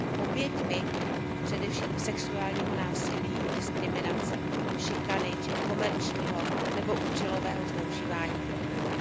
oběťmi především sexuálního násilí, diskriminace, šikany či komerčního nebo účelového zneužívání profilů.